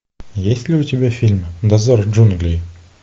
есть ли у тебя фильм дозор джунглей